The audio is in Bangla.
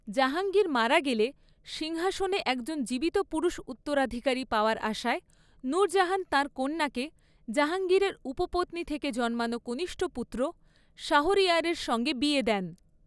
জাহাঙ্গীর মারা গেলে সিংহাসনে একজন জীবিত পুরুষ উত্তরাধিকারী পাওয়ার আশায়, নুরজাহান তাঁর কন্যাকে জাহাঙ্গীরের উপপত্নী থেকে জন্মানো কনিষ্ঠ পুত্র শাহরিয়ারের সঙ্গে বিয়ে দেন।